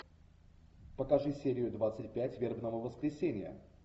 покажи серию двадцать пять вербного воскресенья